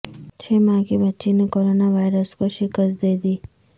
چھ ماہ کی بچی نے کورونا وائرس کو شکست دیدی